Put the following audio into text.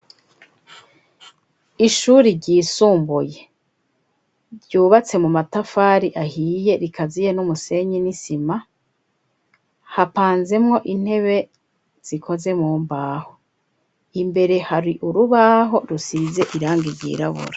Ishuri ryisumbuye ryubatse mu matafari ahiye rikaziye n'umusenyi n'isima, hapanzemwo intebe zikoze mu mbaho imbere hari urubaho rusize irangi ryirabura.